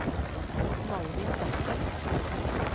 Malvin Bekken